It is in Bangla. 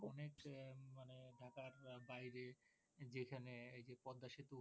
অনেক মানে ঢাকার বাইরে এখানে এই যে পদ্মা সেতু